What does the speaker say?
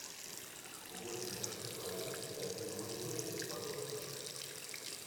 восемь простых правил для друга моей дочери подростка